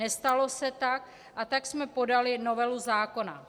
Nestalo se tak, a tak jsme podali novelu zákona.